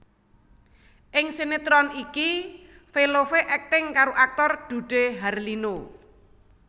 Ing sinetron iki Velove akting karo aktor Dude Harlino